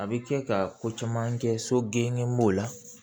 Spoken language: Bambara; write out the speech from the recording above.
A bɛ kɛ ka ko caman kɛ so genge m'o la